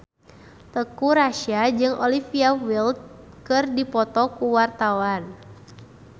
Teuku Rassya jeung Olivia Wilde keur dipoto ku wartawan